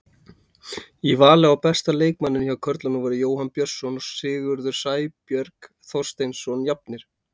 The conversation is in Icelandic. Í vali á besta leikmanninum hjá körlunum voru Jóhann Björnsson og Sigurður Sæberg Þorsteinsson jafnir.